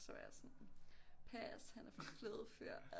Så var jeg sådan pass han er for flødefyr